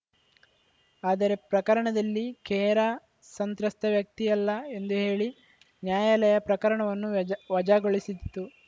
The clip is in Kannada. ಆದರೆ ಪ್ರಕರಣದಲ್ಲಿ ಖೇರಾ ಸಂತ್ರಸ್ತ ವ್ಯಕ್ತಿಯಲ್ಲ ಎಂದು ಹೇಳಿ ನ್ಯಾಯಾಲಯ ಪ್ರಕರಣವನ್ನು ವಜ್ ವಜಾಗೊಳಿಸಿತ್ತು